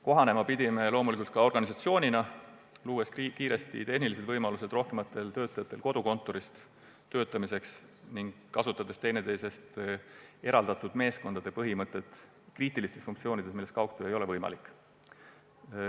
Loomulikult pidime kohanema ka organisatsioonina, luues kiiresti tehnilised võimalused rohkematele töötajatele kodukontoris töötamiseks ning kasutades teineteisest eraldatud meeskondade põhimõtet kriitiliste funktsioonide korral, kui kaugtöö ei ole võimalik.